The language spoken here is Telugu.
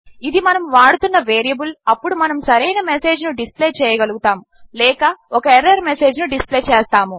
ఇది మనము వాడుతున్న వేరియబుల్ అప్పుడు మనము సరైన మెసేజ్ ను డిస్ప్లే చేయగలుగుతాము లేదా ఒక ఎర్రర్ మెసేజ్ ను డిస్ప్లే చేస్తాము